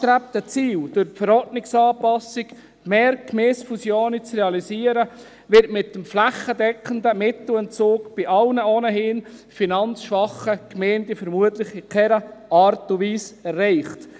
Das durch die Anpassung der Verordnung über den Finanz- und Lastenausgleich (FILAV) angestrebte Ziel, mehr Gemeindefusionen zu realisieren, wird mit dem flächendeckenden Mittelentzug bei allen ohnehin finanzschwachen Gemeinden vermutlich in keiner Art und Weise erreicht.